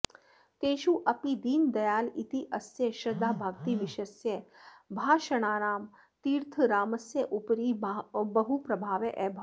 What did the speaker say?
तेषु अपि दीनदयाल इत्यस्य श्रद्धाभक्तिविषयस्य भाषणानां तीर्थरामस्य उपरि बहुप्रभावः अभवत्